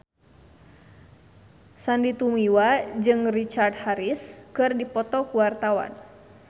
Sandy Tumiwa jeung Richard Harris keur dipoto ku wartawan